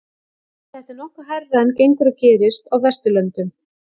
Þetta er nokkuð hærra en gengur og gerist á Vesturlöndum.